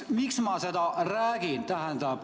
Miks ma seda räägin?